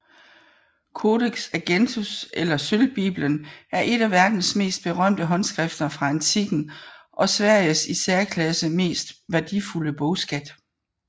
Codex Argenteus eller Sølvbibelen er et af verdens mest berømte håndskrifter fra antikken og Sveriges i særklasse mest værdifulde bogskat